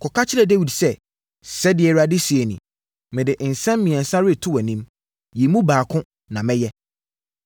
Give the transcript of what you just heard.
“Kɔka kyerɛ Dawid sɛ, Sɛdeɛ Awurade seɛ nie: ‘Mede nsɛm mmiɛnsa reto wʼanim. Yi mu baako na mɛyɛ.’ ”